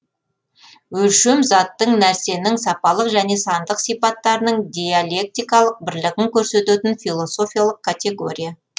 өлшем заттың нәрсенің сапалық және сандық сипаттарының диалектикалық бірлігін көрсететін философиялық категория